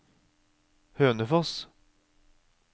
Hønefoss